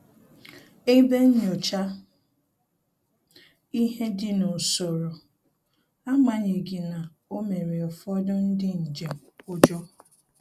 Ebe nnyocha ihe dị n'usoro, agbanyeghi na o mere ụfọdụ ndị njem ụjọ